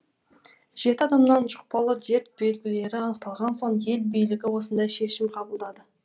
жеті адамнан жұқпалы дерт белгілері анықталған соң ел билігі осындай шешім қабылдады